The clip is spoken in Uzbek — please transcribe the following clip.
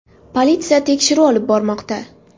Politsiya tekshiruv olib bormoqda.